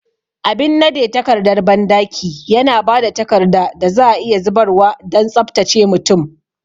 Abin nade takardar bandaki yana ba da takarda da za a iya zubarwa don tsabtace mutum.